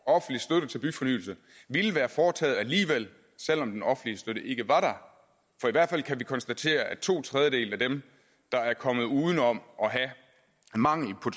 offentlig støtte til byfornyelse ville være foretaget alligevel selv om den offentlige støtte ikke var der for i hvert fald kan vi konstatere at to tredjedele af dem der er kommet uden om at have mangel på